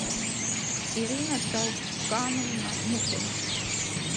ирина толкановна мухина